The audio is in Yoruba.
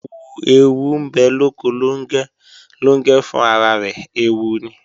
Ẹẹwu ń bẹ lóko Lóngẹ́, Lóngẹ́ fún ara rẹ̀ ẹẹwu ni